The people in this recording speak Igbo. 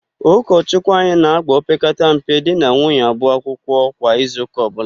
Ụkọchụkwụ anyị na-ágbà opekata mpe di na nwunye abụọ akwụkwọ kwa izuụka ọbụla.